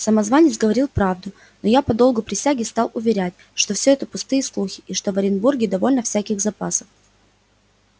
самозванец говорил правду но я по долгу присяги стал уверять что все это пустые слухи и что в оренбурге довольно всяких запасов